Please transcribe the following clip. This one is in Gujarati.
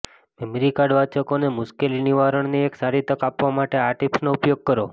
મેમરી કાર્ડ વાચકોને મુશ્કેલીનિવારણની એક સારી તક આપવા માટે આ ટીપ્સનો ઉપયોગ કરો